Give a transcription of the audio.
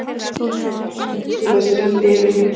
Bréfunum svoleiðis rigndi yfir mig.